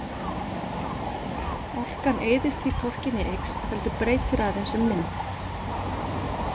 Orkan eyðist því hvorki né eykst heldur breytir aðeins um mynd.